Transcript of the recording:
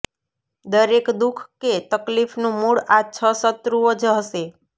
દરેક દુઃખ કે તકલીફનું મૂળ આ છ શત્રુઓ જ હશે